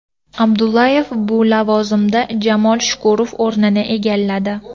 Abdullayev bu lavozimda Jamol Shukurov o‘rnini egalladi.